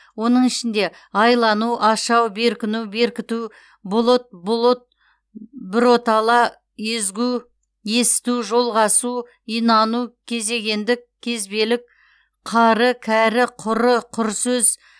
оның ішінде айлану ашау беркіну беркіту бұлыт бұлұт біротала езгү есіту жолғасу инану кезегендік кезбелік қары кәрі құры құр сөз